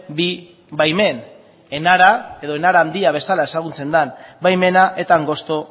bi baimen enara edo enara handia bezala ezagutzen den baimena eta angosto